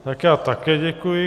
Tak já také děkuji.